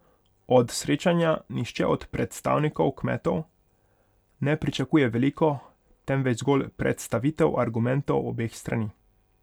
Od srečanja nihče od predstavnikov kmetov ne pričakuje veliko, temveč zgolj predstavitev argumentov obeh strani.